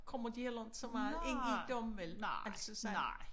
Kommer de heller ikke så meget ind i dem vel altså sådan